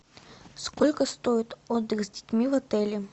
сколько стоит отдых с детьми в отеле